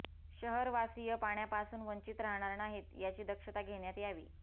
शहरवासिय पाण्यापासून वंचित राहणार नाहीत याची दक्षता घेण्यात यावी